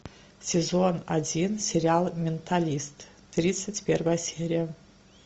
сезон один сериал менталист тридцать первая серия